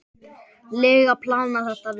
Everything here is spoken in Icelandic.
lega planað þetta vel.